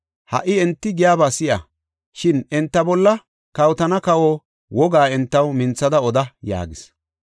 Ha77i enti giyaba si7a; shin enta bolla kawotana kawa wogaa entaw minthada oda” yaagis.